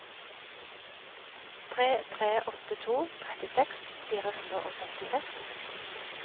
tre tre åtte to trettiseks fire hundre og femtiseks